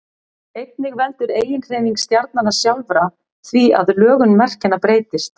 einnig veldur eiginhreyfing stjarnanna sjálfra því að lögun merkjanna breytist